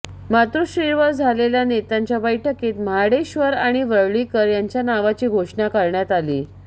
मातोश्रीवर झालेल्या नेत्यांच्या बैठकीत महाडेश्वर आणि वरळीकर यांच्या नावाची घोषणा करण्यात आली